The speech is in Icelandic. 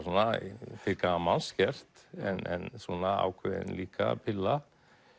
til gamans gert en ákveðin líka pilla